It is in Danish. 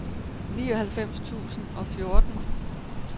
nioghalvfems tusind og fjorten